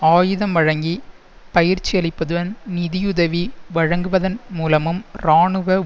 ஆயுதம் வழங்கி பயிற்சியளிப்பதுன் நிதியுதவி வழங்குவதன் மூலமும் இராணுவ